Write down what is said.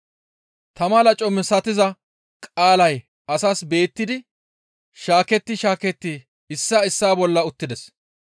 Tama laco misatiza qaalay asaas beettidi shaaketti shaaketti issaa issaa bolla uttides.